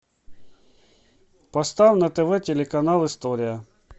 поставь на тв телеканал история